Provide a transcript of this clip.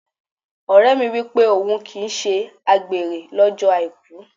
Ọ̀rẹ́ mi wípé òhun kì í ṣe àgbèrè lọ́jọ́ Àìkú.